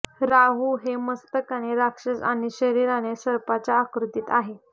राहू हे मस्तकाने राक्षस आणि शरीराने सर्पाच्या आकृतीत आहे